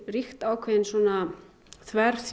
ríkt ákveðin